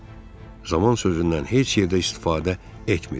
Zaman sözündən heç yerdə istifadə etmir.